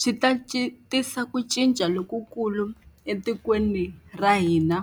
Swi ta tisa ku cinca lokukulu etikweni ra hina